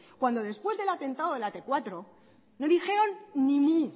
cuando después del atentado de la tmenos cuatro no dijeron ni mu y